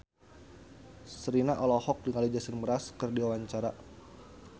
Sherina olohok ningali Jason Mraz keur diwawancara